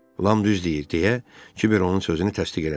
Lam düz deyir deyə Kiber onun sözünü təsdiq elədi.